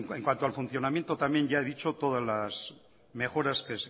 en cuanto al funcionamiento también ya he dicho todas las mejoras que